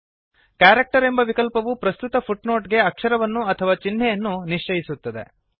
character ಎಂಬ ವಿಕಲ್ಪವು ಪ್ರಸ್ತುತ ಫುಟ್ನೊಟ್ ಗೆ ಅಕ್ಷರವನ್ನು ಅಥವಾ ಚಿಹ್ನೆಯನ್ನು ನಿಶ್ಚಯಿಸುತ್ತದೆ